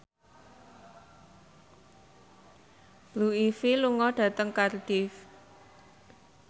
Blue Ivy lunga dhateng Cardiff